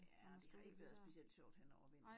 Ja og det har ikke været specielt sjovt hen over vinteren